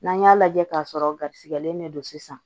N'an y'a lajɛ k'a sɔrɔ garisigɛlen de don sisan